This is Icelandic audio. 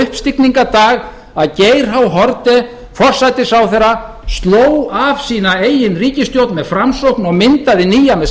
uppstigningardag að geir h haarde forsætisráðherra sló af sína sína eigin ríkisstjórn með framsókn og myndaði nýja með